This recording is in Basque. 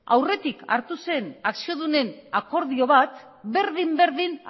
aurretik hartu zen akziodunen akordio bat berdin berdin